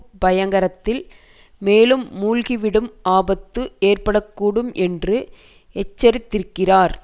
பயங்கரத்தில் மேலும் மூழ்கிவிடும் ஆபத்து ஏற்பட கூடும் என்று எச்சரித்திருக்கிறார்